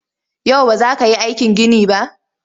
Yau ba za ka yi aikin ginin ba?